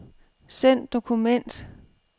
Send dokument.